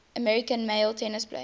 american male tennis players